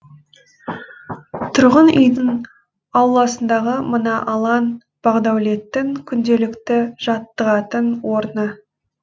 тұрғын үйдің ауласындағы мына алаң бағдәулеттің күнделікті жаттығатын орны